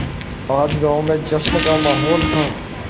आज गाँव में जश्न का माहौल था